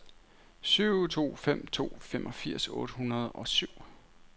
syv to fem to femogfirs otte hundrede og syv